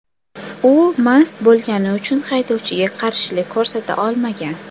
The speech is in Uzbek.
U mast bo‘lgani uchun haydovchiga qarshilik ko‘rsata olmagan.